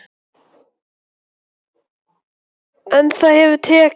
Róbert: En það hefur tekist?